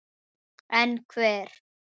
En ekki hver?